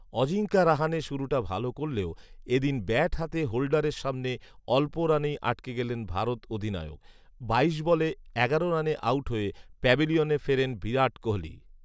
অজিঙ্কা রাহানে শুরুটা ভালও করলেও এদিন ব্যাট হাতে হোল্ডারের সামনে অল্প রানেই আটকে গেলেন ভারত অধিনায়ক৷ বাইশ বলে এগারো রানে আউট হয়ে প্যাভিলিয়নে ফেরেন বিরাট কোহলি